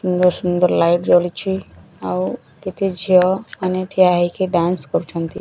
ସୁନ୍ଦର୍ ସୁନ୍ଦର୍ ଲାଇଟ୍ ଜଳିଛି ଆଉ କେତେ ଝିଅମାନେ ଠିଆହେଇକି ଡ୍ୟାନ୍ସ୍ କରୁଛନ୍ତି।